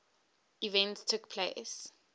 events took place